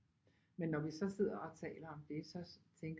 Men når vi så sidder og taler om det så